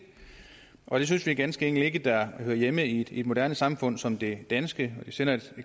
og det synes vi ganske enkelt ikke hører hjemme i et moderne samfund som det danske det sender